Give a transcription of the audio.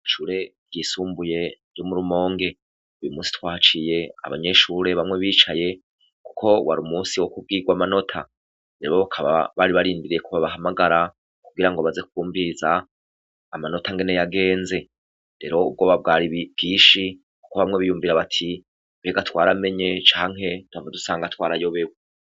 Ishure ryisumbuye ryo mu Rumonge, uyu munsi twahaciye abanyeshure bamwe bicaye kuko wari umunsi wo kubwirwa amanota rero bakaba bari barindiriye ko babahamagara kugira ngo baze kwumviriza amanota ingene yagenze, rero ubwoba bwari bwinshi kuko bamwe biyumvira bati: 'Mbega twaramenye canke duhava dusanga twarayobewe?"